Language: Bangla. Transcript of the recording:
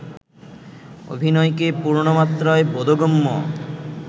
অভিনয়কে পূর্ণমাত্রায় বোধগম্য